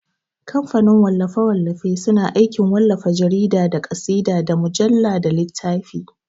Kamfanin wallafe-wallafe suna aikin wallafa jarida, da ƙasida, da mujalla, da littafi.